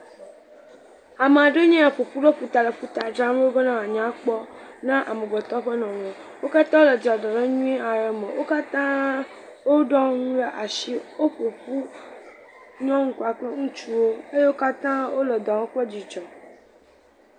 Ame ɖewo ya ƒoƒu ɖe ƒuta le ƒuta dzram ɖo be ne woa nya kpɔ ne amegbetɔ ƒe nɔnɔ. Wo kata wole dzɔdzɔnyuie ade me. Wo kata wo ɖɔ nu ɖe asi. Woƒo ƒu nyɔnu kpakple ŋutsuwo. Wo kata wole dɔ wɔm kple dzidzɔ.